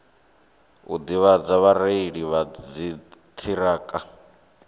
u ḓivhadza vhareili vha dziṱhirakha